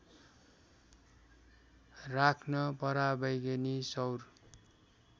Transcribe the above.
राख्न पराबैगनी सौर